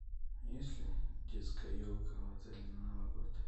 есть ли детская елка в отеле на новый год